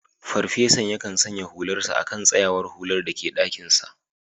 Farfesan yakan sanya hularsa a kan tsayawar hular da ke dakinsa